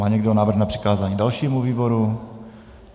Má někdo návrh na přikázání dalšímu výboru?